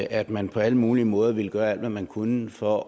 at man på alle mulige måder ville gøre alt hvad man kunne for